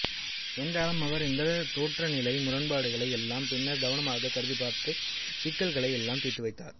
என்றாலும் அவர் இந்தத் தோற்றநிலை முரண்பாடுகளையெல்லாம் பின்னர் கவனமாகக் கருதிப்பார்த்து அந்தச் சிக்கல்களை எல்லாம் தீர்த்துவைத்தார்